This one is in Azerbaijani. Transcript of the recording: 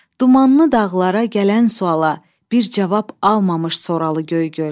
Dumanlı dağlara gələn suala bir cavab almamış soralı Göygöl.